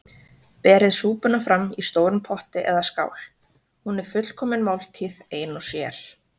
Berið súpuna fram í stórum potti eða skál- hún er fullkomin máltíð ein og sér.